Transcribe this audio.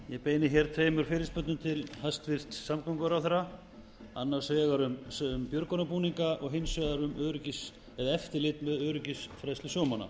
ég beini hér tveimur fyrirspurnum til hæstvirts samgönguráðherra annars vegar um björgunarbúninga og hins vegar um eftirlit með öryggisfræðslu sjómanna